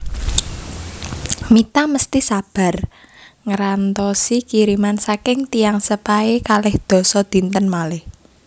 Mita mesti sabar ngrantosi kiriman saking tiyang sepahe kalih dasa dinten malih